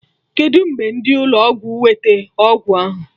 Kedụ mgbe ndị ụlọ ọgwụ wete ọgwụ ahụ?